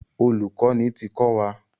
Olùkọ́ni ti kọ́ wa.